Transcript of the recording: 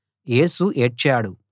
యేసు ఏడ్చాడు